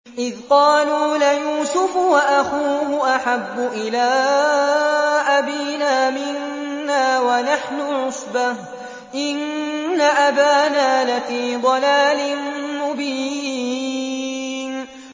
إِذْ قَالُوا لَيُوسُفُ وَأَخُوهُ أَحَبُّ إِلَىٰ أَبِينَا مِنَّا وَنَحْنُ عُصْبَةٌ إِنَّ أَبَانَا لَفِي ضَلَالٍ مُّبِينٍ